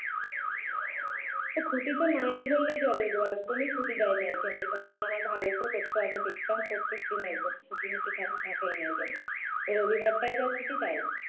ছুটিটা নেই বললেই চলে একদমই ছুটি দেয়না এখানে কারণ আমার ভাইও তো করতো আগে দেখতাম প্রত্যেকদিন একদম ছুটিমুটি থা থাকেই নাএখানে রবিবারটাই যা ছুটি তাই